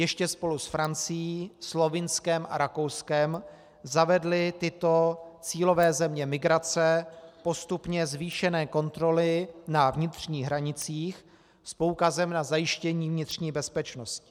Ještě spolu s Francií, Slovinskem a Rakouskem zavedly tyto cílové země migrace postupně zvýšené kontroly na vnitřních hranicích s poukazem na zajištění vnitřní bezpečnosti.